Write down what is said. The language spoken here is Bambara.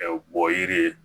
Ɛɛ bɔ yiri